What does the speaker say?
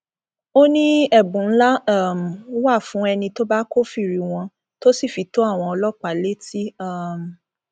ó ní ẹbùn ńlá um wà fún ẹni tó bá kófìrí wọn tó sì fi tó àwọn ọlọpàá létí um